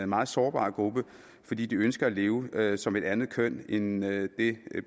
meget sårbar gruppe fordi de ønsker at leve som et andet køn end det